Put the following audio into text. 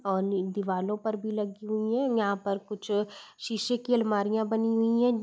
और दिवलो पर भी लगी हुई हैं। यहाँ पर कुछ शीशे की आलमारियां बनी हुई हैं।